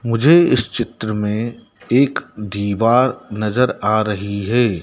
मुझे इस चित्र में एक दीवार नजर आ रही है।